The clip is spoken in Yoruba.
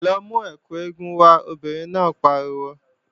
Lọ mú ẹkù eégún wá, obìnrin náà pariwo!